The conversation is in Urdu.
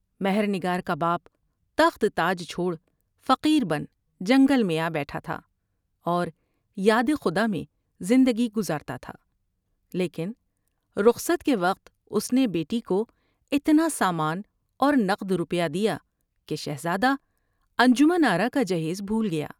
مہر نگار کا باپ و تخت تاج چھوڑ فقیر بن جنگل میں آ بیٹھا تھا اور یادخدا میں زندگی گزارتا تھا لیکن رخصت کے وقت اس نے بیٹی کو اتنا سامان اور نقد روپیہ دیا کہ شہزادہ انجمن آرا کا جہیز بھول گیا ۔